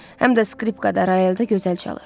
Həm də skripkada royalda gözəl çalır.